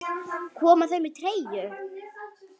Koma þau með treyju?